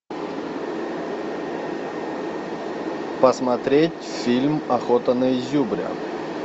посмотреть фильм охота на изюбря